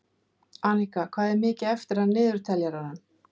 Anika, hvað er mikið eftir af niðurteljaranum?